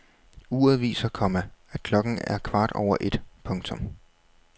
Uret viser, komma at klokken er kvart over et. punktum